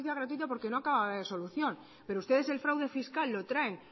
justicia gratuita porque no acababa de haber solución pero ustedes el fraude fiscal lo traen